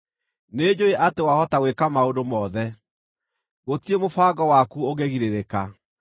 “Nĩnjũũĩ atĩ wahota gwĩka maũndũ mothe; gũtirĩ mũbango waku ũngĩgirĩrĩka.